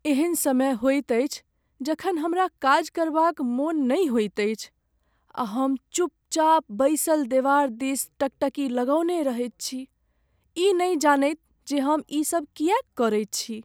एहन समय होइत अछि जखन हमरा काज करबाक मन नहि होइत अछि आ हम चुपचाप बैसल देवार दिस टकटकी लगौने रहैत छी, ई नहि जनैत जे हम ईसभ किएक करैत छी।